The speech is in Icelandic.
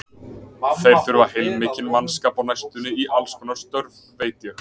Þeir þurfa heilmikinn mannskap á næstunni í allskonar störf, veit ég.